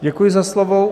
Děkuji za slovo.